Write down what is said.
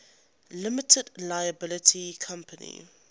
limited liability company